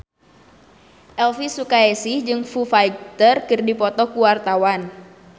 Elvy Sukaesih jeung Foo Fighter keur dipoto ku wartawan